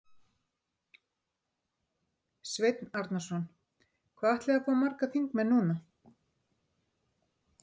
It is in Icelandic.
Sveinn Arnarson: Hvað ætliði að fá margar þingmenn núna?